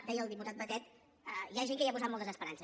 deia el diputat batet hi ha gent que hi ha posat moltes esperances